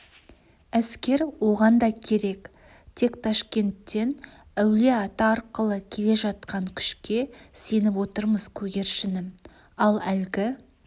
әскер оған да керек тек ташкенттен әулие-ата арқылы келе жатқан күшке сеніп отырмыз көгершінім ал әлгі